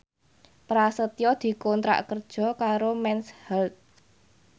Prasetyo dikontrak kerja karo Mens Health